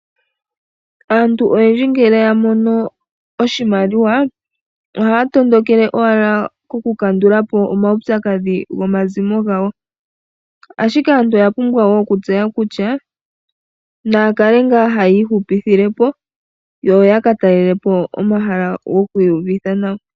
Aantu oyendji ngele yamona oshimaliwa ohaya tondokele owala koku kandula po omaupyakadhi gomazimo gawo ashike aantu oya pumbwa wo okutseya kutya naya kale nga haya ihupithile po yo ya katalele po omahala goku iyuvitha nawa.